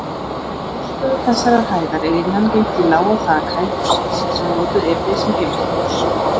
Úr forstofu þessarar hæðar er innangengt í lága þakhæð hússins, sem notuð yrði sem geymslupláss.